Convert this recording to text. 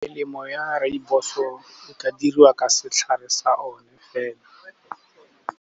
Melemo ya rooibos-o e ka diriwa ka setlhare sa o ne fela.